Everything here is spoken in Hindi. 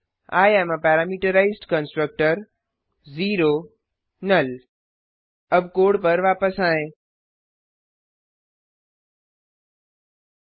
I am a parameterized constructor null अब कोड पर वापस आएँ